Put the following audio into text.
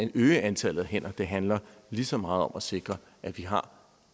at øge antallet af hænder det handler lige så meget om at sikre at vi har